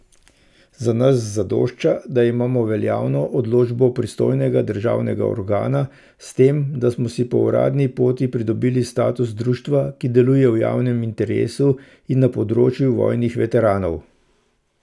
Za nas zadošča, da imamo veljavno odločbo pristojnega državnega organa s tem, da smo si po uradni poti pridobili status društva, ki deluje v javnem interesu na področju vojnih veteranov.